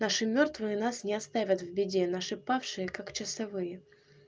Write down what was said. наши мёртвые нас не оставят в беде наши павшие как часовые